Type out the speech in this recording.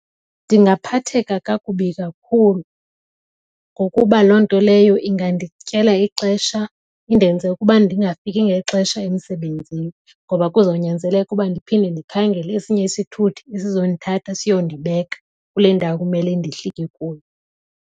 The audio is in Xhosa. Ndingaphatheka kakubi kakhulu ngokuba loo nto leyo ingandityela ixesha, indenze ukuba ndingafiki ngexesha emsebenzini ngoba kuzonyanzeleka ukuba ndiphinde ndikhangele esinye isithuthi esizondithatha siyondibeka kule ndawo kumele ndihlike kuyo.